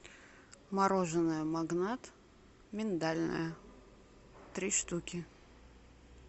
мороженое магнат миндальное три штуки